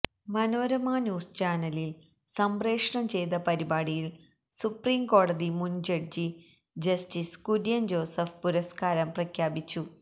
Manorama news ചാനലിൽ സംപ്രേഷണം ചെയ്ത പരിപാടിയിൽ സുപ്രീംകോടതി മുൻ ജഡ്ജി ജസ്റ്റിസ് കുര്യൻ ജോസഫ് പുരസ്കാരം പ്രഖ്യാപിച്ചു